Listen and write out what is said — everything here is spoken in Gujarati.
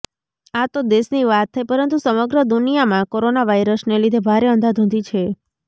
આ તો દેશની વાત થઇ પરંતુ સમગ્ર દુનિયામાં કોરોના વાઇરસને લીધે ભારે અંધાધૂંધી છે